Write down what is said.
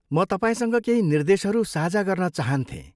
म तपाईँसँग केही निर्देशहरू साझा गर्न चहान्थेँ।